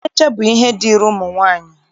Ntecha bụ ihe dịịrị ụmụ nwaanyị